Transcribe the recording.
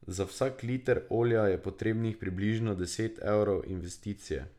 Za vsak liter olja je potrebnih približno deset evrov investicije.